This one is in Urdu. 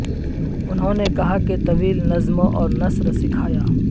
انہوں نے کہا کہ طویل نظموں اور نثر سکھایا